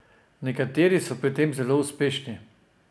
Nekateri so pri tem zelo uspešni.